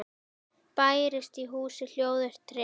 Bærist í húsi hljóður tregi.